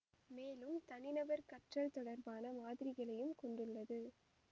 மேலும் தனிநபர் கற்றல் தொடர்பான மாதிரிகளையும் கொண்டுள்ளது